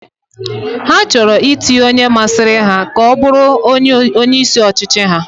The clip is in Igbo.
Ha chọrọ itinye onye masịrị ha ka ọbụrụ onye isi ọchịchị ha